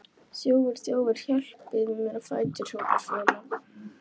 Þjófur, þjófur, hjálpið þið mér á fætur, hrópar Fjóla.